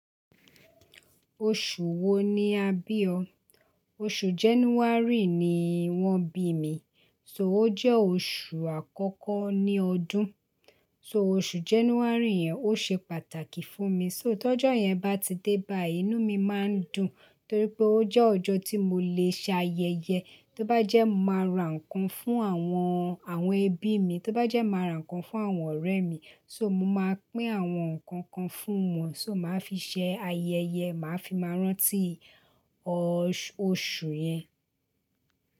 Oṣù wo ni a bí ọ? Oṣù January ni wọ́n bí mi, so ó jẹ́ oṣù àkọ́kọ́ ní ọdún. So oṣù January yẹn ó ṣe pàtàkì fún mi. So tọ́jọ́ yẹn bá ti dé báì, inú mi máa ń dùn torí pé ó jẹ́ ọjọ́ tí mo lè ṣe ayẹyẹ. Tóbájẹ́ máa ra ǹkan fún àwọn, àwọn ẹbí mi, tóbájẹ́ máa ra ǹkan fún àwọn ọ̀rẹ́ mi. So mo máa pín àwọn nǹkan kan fún wọn. So màá fi ṣe ayẹyẹ, màá fi máa rántí oṣù yẹn.